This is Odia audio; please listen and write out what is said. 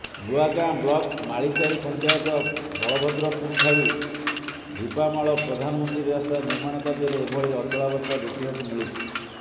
ନୂଆଗାଁ ବ୍ଲକ୍ ମାଳିସାହି ପଂଚାୟତ ବଳଭଦ୍ରପୁରଠାରୁ ଢିପାମାଳ ପ୍ରଧାନମନ୍ତ୍ରୀ ରାସ୍ତା ନିର୍ମାଣ କାର୍ଯ୍ୟରେ ଏଭଳି ଅଚଳାବସ୍ଥା ଦେଖିବାକୁ ମିଳିଛି